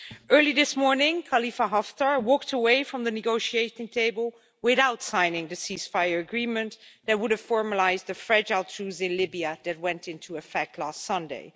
Early this morning, Khalifa Haftar walked away from the negotiating table without signing the ceasefire agreement that would have formalised the fragile truce in Libya that went into effect last Sunday.